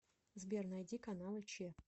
сбер найти каналы че